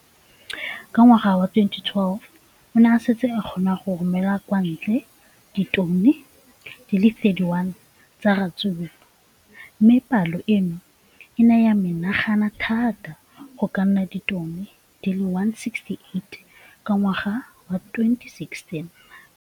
Ka ngwaga wa 2015, o ne a setse a kgona go romela kwa ntle ditone di le 31 tsa ratsuru mme palo eno e ne ya menagana thata go ka nna ditone di le 168 ka ngwaga wa 2016.